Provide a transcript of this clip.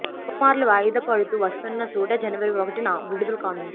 పలు మార్లు వాయిదా పడుతూ వస్తున్న తూటా జనవరి ఒకటి న విడుదల కానుంది